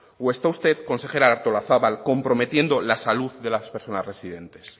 o está usted consejera artolazabal comprometiendo la salud de las personas residentes